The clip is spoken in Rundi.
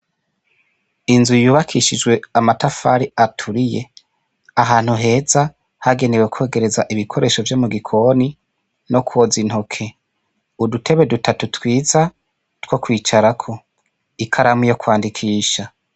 inzu yubakishijwe amatafari aturiye ahantu heza hagenewe kogereza ibikoresho byo mu gikoni no koza intoke udutebe dutatu twiza two kwicarako ikaramu yo kwandikisha